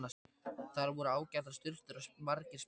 Þar voru ágætar sturtur og margir speglar!